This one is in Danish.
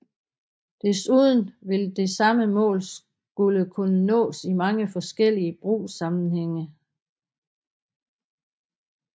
Desuden vil det samme mål skulle kunne nås i mange forskellige brugssammenhænge